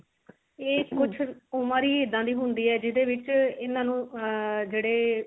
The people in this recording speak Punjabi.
ਇਹ ਕੁਛ ਉਮਰ ਹੀ ਇਦਾਂ ਦੀ ਹੁੰਦੀ ਹੈ ਜਿਹਦੇ ਵਿੱਚ ਇਹਨਾਂ ਨੂੰ ਆ ਜਿਹੜੇ